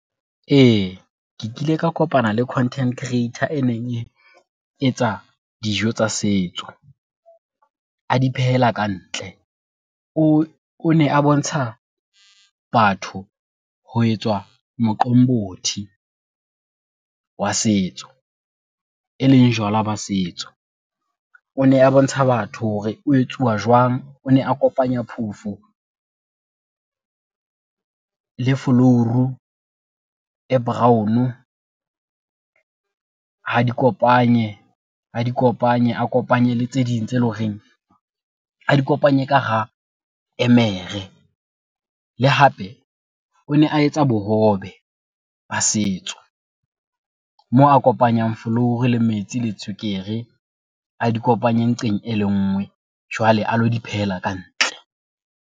Ee, ke kile ka kopana le content creator e neng e etsa dijo tsa setso, a di phehela ka ntle. O ne a bontsha batho ho etswa moqombothi wa setso, e leng jwala ba setso. O ne a bontsha batho hore o etsuwa jwang, o ne a kopanya phofo le folouru e brown, ha di kopanye, a di kopanye, a kopanye le tse ding tse leng horeng a di kopanye ka hara emere. Le hape o ne a etsa bohobe ba setso moo a kopanyang folouru le metsi le tswekere a di kopanye nqeng e le ngwe jwale a lo di phehela ka ntle.